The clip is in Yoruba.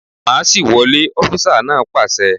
Máàṣì wọlé! Ọfísà náà pàṣẹ